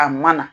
A mana